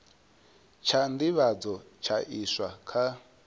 tsha nḓivhadzo tsha iswa kha